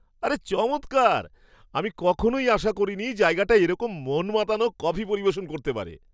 আরে চমৎকার! আমি কখনই আশা করিনি জায়গাটা এরকম মন মাতানো কফি পরিবেশন করতে পারে।